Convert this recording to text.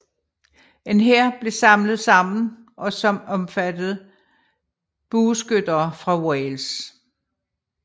En hær blev samlet sammen og som omfattede bueskyttere fra Wales